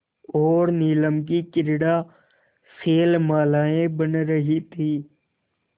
और नीलम की क्रीड़ा शैलमालाएँ बन रही थीं